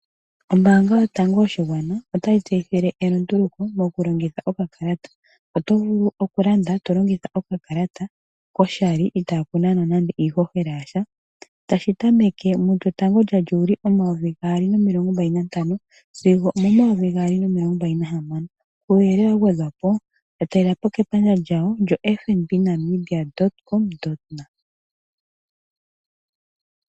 Ombaanga yotango yoshigwana otayitseyitha elunduluko mokulongitha okakalata. Oto vulu okulanda tolongitha koshali itaakunanwa nande iishoshela yasha, tashi tameke mu 1 Juli 2025 sigo 2026. Uuyelele wagwedhwapo yatalelapo kepandja lyawo lyo fnbnamibia.com.na